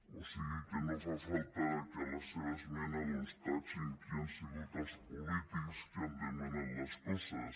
o sigui que no fa falta que a la seva esmena doncs ratllin qui han sigut els polítics que han demanat les coses